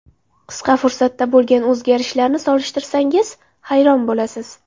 Qisqa fursatda bo‘lgan o‘zgarishlarni solishtirsangiz, hayron bo‘lasiz.